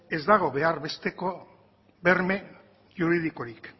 ez dago behar besteko berme juridikorik